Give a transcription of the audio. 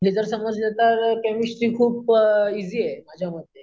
हे जर समजले तर केमिस्टरी खूप ईज़ी आहे माझ्या मते.